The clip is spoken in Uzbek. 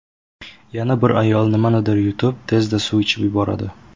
Yana bir ayol nimanidir yutib, tezda suv ichib yuboradi.